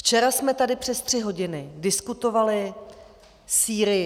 Včera jsme tady přes tři hodiny diskutovali Sýrii.